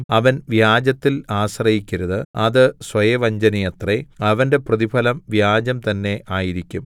അവൻ വ്യാജത്തിൽ ആശ്രയിക്കരുത് അത് സ്വയവഞ്ചനയത്രേ അവന്റെ പ്രതിഫലം വ്യാജം തന്നെ ആയിരിക്കും